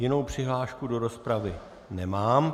Jinou přihlášku do rozpravy nemám.